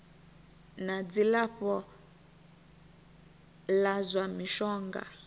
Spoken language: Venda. na dzilafho la zwa mishonga